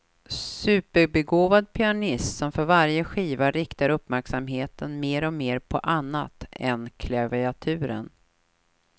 Superbegåvad pianist som för varje skiva riktar uppmärksamheten mer och mer på annat än klaviaturen.